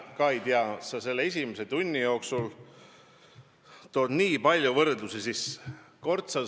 Ma ei tea, sa selle esimese tunni jooksul tood nii palju võrdlusi sisse!